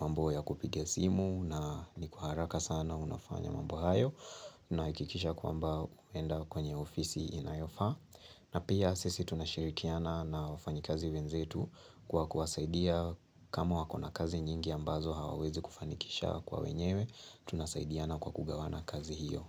mambo ya kupiga simu na ni kwa haraka sana unafanya mambo hayo. Unahakikisha kwamba unaenda kwenye ofisi inayofaa. Na pia sisi tunashirikiana na wafanyikazi wenzetu kwa kuwasaidia kama wako na kazi nyingi ambazo hawawezi kufanikisha kwa wenyewe. Tunasaidiana kwa kugawana kazi hiyo.